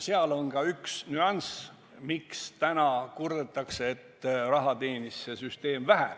Seal on ka üks nüanss, mille tõttu nüüd kurdetakse, et raha teenis see süsteem vähe.